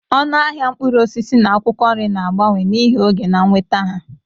Ọnụ ahịa mkpụrụ osisi na akwụkwọ nri na-agbanwe n'ihi oge na nnweta ha.